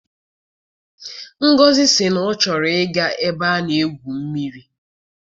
Ngozi sị na ọ chọrọ I ga ebe a na-egwu mmiri.